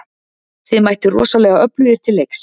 Þið mættuð rosalega öflugir til leiks?